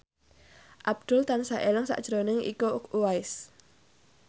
Abdul tansah eling sakjroning Iko Uwais